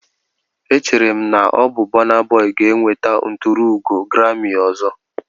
Echere m na ọ bụ Burna Boy ga-enweta nturuugo grami ọzọ.